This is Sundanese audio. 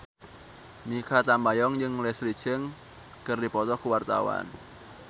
Mikha Tambayong jeung Leslie Cheung keur dipoto ku wartawan